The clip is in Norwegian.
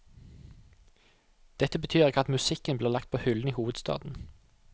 Dette betyr ikke at musikken blir lagt på hyllen i hovedstaden.